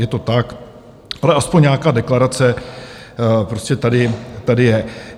Je to tak, ale aspoň nějaká deklarace prostě tady je.